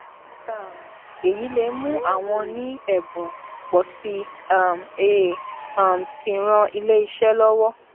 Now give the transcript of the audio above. um èyí lè mú àwọn ní èbùn pò sí i um è è um sì ran iléeṣé lówó